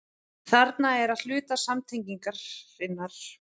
Þarna er að hluti samtengingarinnar.